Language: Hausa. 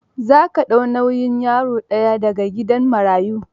Za ka dau nau'yin yaro ɗaya da ga gidan marayun?